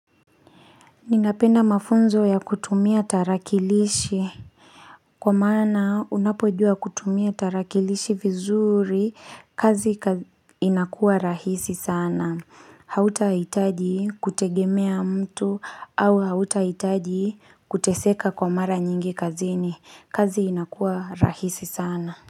Ninapenda mafunzo ya kutumia tarakilishi Kwa maana unapojua kutumia tarakilishi vizuri kazi inakuwa rahisi sana Hautahitaji kutegemea mtu au hautahitaji kuteseka kwa mara nyingi kazini kazi inakuwa rahisi sana.